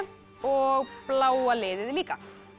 og bláa liðið líka